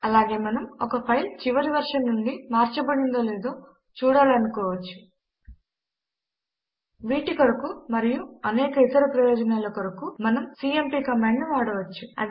అలాగే మనం ఒక ఫైల్ చివరి వెర్షన్ నుండి మార్చబడిందో లేదో చూడాలనుకో వచ్చు వీటి కొరకు మరియు అనేక ఇతర ప్రయోజనాల కొరకు మనము సీఎంపీ కమాండ్ ను వాడవచ్చు